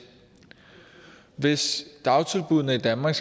hvis dagtilbuddene i danmark